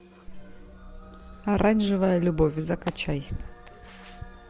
оранжевая любовь закачай